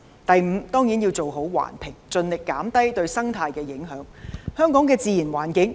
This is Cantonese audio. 第五，當然要做好環評，盡力減低對生態環境的影響。